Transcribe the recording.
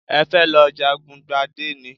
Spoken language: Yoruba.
Ẹ fẹ́ lọ jagun gbadé ni?